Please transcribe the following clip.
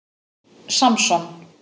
Samson